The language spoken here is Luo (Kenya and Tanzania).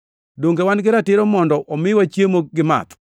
Donge wan gi ratiro mondo omiwa chiemo gi math?